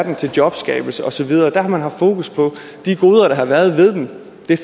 er til jobskabelse og så videre der har man haft fokus på de goder der har været ved den